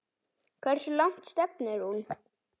Hversu langt stefnir hún?